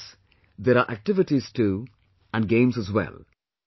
In this, there are activities too and games as well